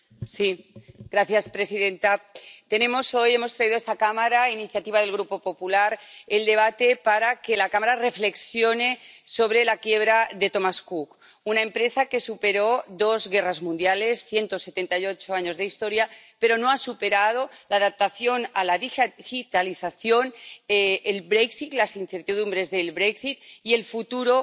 Señora presidenta, hoy hemos traído a esta Cámara, a iniciativa del Grupo popular, el debate para que la Cámara reflexione sobre la quiebra de Thomas Cook, una empresa que superó dos guerras mundiales, 178 años de historia, pero no ha superado la adaptación a la digitalización, las incertidumbres del y el futuro